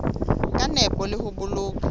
ka nepo le ho boloka